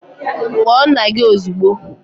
Kpọọ nna gị ozugbo!